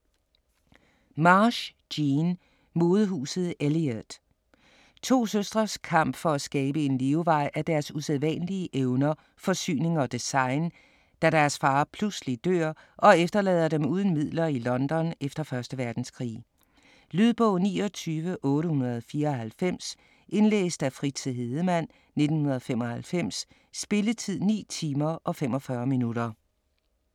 Marsh, Jean: Modehuset Eliott To søstres kamp for at skabe en levevej af deres usædvanlige evner for syning og design, da deres far pludselig dør og efterlader dem uden midler i London efter 1. verdenskrig. Lydbog 29894 Indlæst af Fritze Hedemann, 1995. Spilletid: 9 timer, 45 minutter.